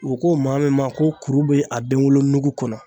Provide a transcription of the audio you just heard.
U ko maa min ma ko kuru bɛ a denwolo nugu kɔnɔ.